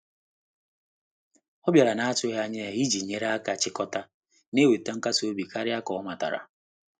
Ọ bịara na-atụghị anya ya iji nyere aka chikọta, na-eweta nkasi obi karịa ka ọ matara.